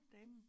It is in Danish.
Damen